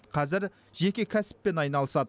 қазір жеке кәсіппен айналысады